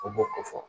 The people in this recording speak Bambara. U b'o ko fɔ